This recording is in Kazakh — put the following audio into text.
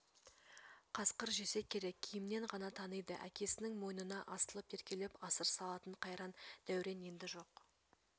қасқыр жесе керек киімнен ғана таниды әкесінің мойнына асылып еркелеп асыр салатын қайран дәурен енді жоқ